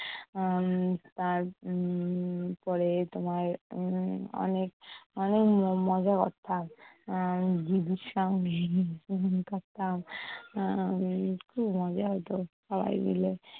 উম তার উম তারপরে তোমার উম অনেক অনেক ম~ মজা করতাম। এর দিদির সঙ্গে করতাম উম কী মজা হতো সবাই মিলে!